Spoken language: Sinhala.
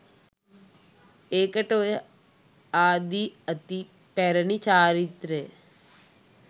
ඒකට ඔය ආදි අති පැරණි චාරිත්‍රය